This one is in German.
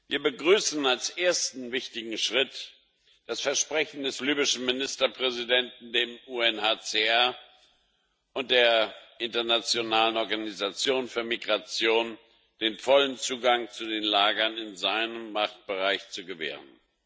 Wir begrüßen als ersten wichtigen Schritt das Versprechen des libyschen Ministerpräsidenten dem UNHCR und der internationalen Organisation für Migration den vollen Zugang zu den Lagern in seinem Machtbereich zu gewähren.